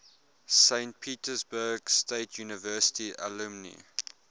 saint petersburg state university alumni